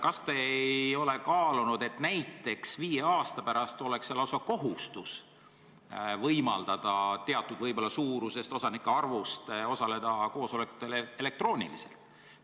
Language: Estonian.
Kas te olete kaalunud seda, et näiteks viie aasta pärast oleks see lausa kohustus võimaldada teatud osal osanikest osaleda koosolekutel elektrooniliselt?